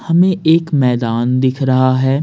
हमें एक मैदान दिख रहा है।